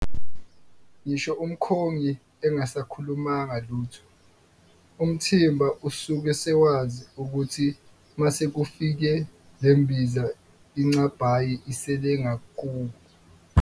Ngisho umkhongi engasakhulumanga lutho, umthimba usuke sewazi ukuthi mase kufike lembiza ingcabhayi isele ngakubo.